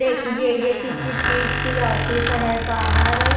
देखिए ये किसी चीज की ऑफिस है बाहर।